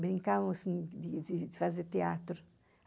Brincavamos assim, de de fazer teatro.